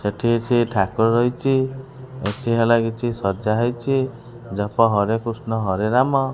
ଏଠି କିଛି ଠାକୁର ରହିଚି ଏଠି ହେଲା କିଛି ସଜା ହେଇଛି ଜପ ହରେ କୃଷ୍ଣ ହରେ ରାମ।